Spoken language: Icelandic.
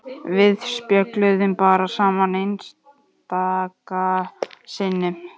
Við spjölluðum bara saman einstaka sinnum.